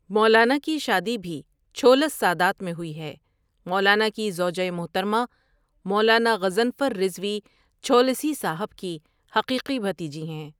مولانا کی شادی بھی چھولس سادات میں ہوئی ہے مولانا کی زوجہ محترمہ، مولانا غضنفر رضوی چھولسی صاحب کی حقیقی بھتیجی ہیں۔